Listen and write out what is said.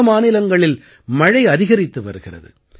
பல மாநிலங்களில் மழை அதிகரித்து வருகிறது